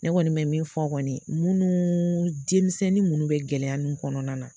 Ne kɔni mɛ min fɔ kɔni munnu denmisɛnnin munnu bɛ gɛlɛya nun kɔnɔna na